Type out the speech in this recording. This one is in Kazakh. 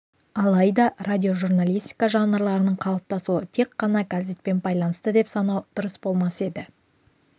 алайда радиожурналистика жанрларының қалыптасуы тек қана газетпен байланысты деп санау дұрыс болмас еді